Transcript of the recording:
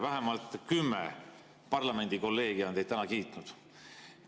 Vähemalt kümme parlamendikolleegi on teid täna kiitnud.